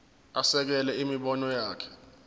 asekele imibono yakhe